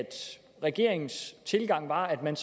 regeringens tilgang var at man